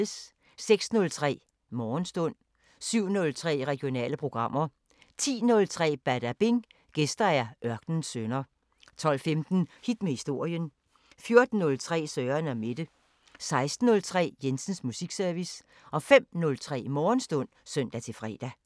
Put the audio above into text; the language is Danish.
06:03: Morgenstund 07:03: Regionale programmer 10:03: Badabing: Gæster Ørkenens Sønner 12:15: Hit med historien 14:03: Søren & Mette 16:03: Jensens Musikservice 05:03: Morgenstund (søn-fre)